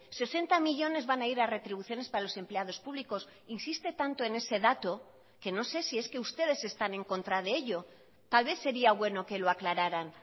sesenta millónes van a ir a retribuciones para los empleados públicos insiste tanto en ese dato que no sé si es que ustedes están en contra de ello tal vez sería bueno que lo aclararan